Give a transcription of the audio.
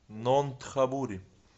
нонтхабури